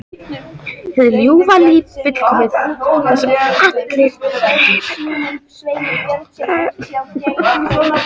Hið ljúfa líf fullkomið: Það sem alla dreymir um.